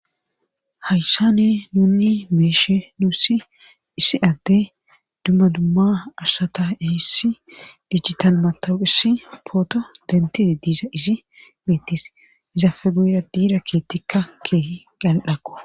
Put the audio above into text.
hayssane nunni meeshe nuussi issi adde dummadumma ashata ehssi dijital matohissi pooto dentee diiza izi miittis izafe guyra diira keettikka keeh gal7akko